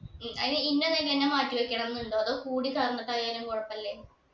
ഉം അയിന് ഇന്ന നെല്ല് തന്നെ മാറ്റിവെക്കണം എന്നുണ്ടോ അതോ കൂടി കലർന്നിട്ടായാലും കൊഴപ്പില്ലേ